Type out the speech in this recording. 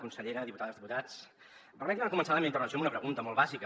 consellera diputades diputats permetin me començar la meva intervenció amb una pregunta molt bàsica